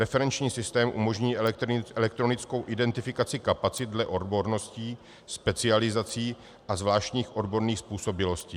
Referenční systém umožní elektronickou identifikaci kapacit dle odborností, specializací a zvláštních odborných způsobilostí.